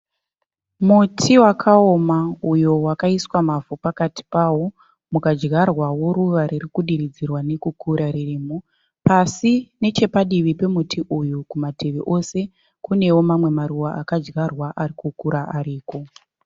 Muti wakaoma uyo wakaisiwa mavhu pakati pawo kukadyarwawo ruva kudiridzirwariri nekukura ririmo. Pasi nechepadivi pemuti uyu kumativi ese kunewo mamwe maruva akadyarwa ari kukura ariko.